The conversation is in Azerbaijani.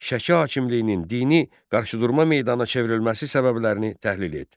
Şəki hakimliyinin dini qarşıdurma meydanına çevrilməsi səbəblərini təhlil et.